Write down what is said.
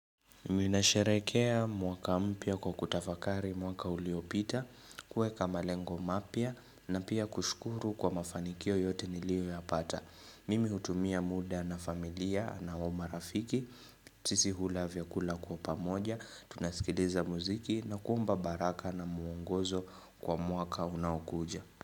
Miminasherehekea mwaka mpya kwa kutafakari mwaka uliopita, kuwekama lengo mapya na pia kushukuru kwa mafanikio yote nilio ya pata. Mimi hutumia muda na familia na wama rafiki, sisi hula vyakula kwa pamoja, tunasikiliza muziki na kuomba baraka na muongozo kwa mwaka unaokuja.